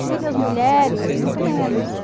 As filhas mulheres, muito menos.